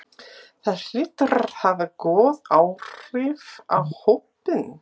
Það hlýtur að hafa góð áhrif á hópinn?